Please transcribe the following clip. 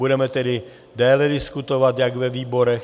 Budeme tedy déle diskutovat jak ve výborech.